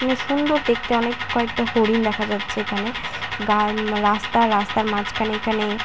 সুন্দর দেখতে অনেক কয়েটা হরিণ দেখা যাচ্ছে এইখানে রাস্তা রাস্তার মাঝখানে এইখানে।